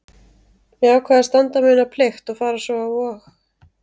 Ég ákvað að standa mína plikt og fara svo á Vog.